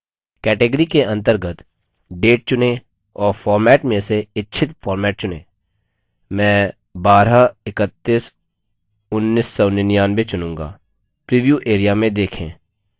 category के अंतर्गत date चुनें और format में से इच्छित format चुनें मैं 12311999 चुनूँगा प्रीव्यू area में देखें